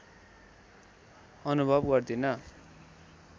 अनुभव गर्दिन